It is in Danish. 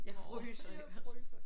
Jeg fryser jeg vil